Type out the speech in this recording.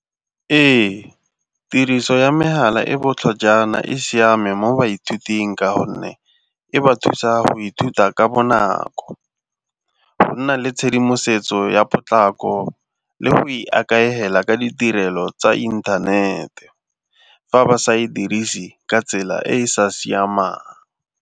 Ee, tiriso ya megala e botlhajana e siame mo baithuting ka gonne e ba thusa go ithuta ka bonako, go nna le tshedimosetso ya potlako le go ikaegela ka ditirelo tsa inthanete fa ba sa e dirise ka tsela e e sa siamang.